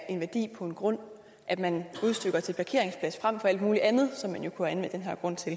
værdi på en grund at man udstykker til parkeringspladser frem for alt muligt andet som man jo kunne anvende den her grund til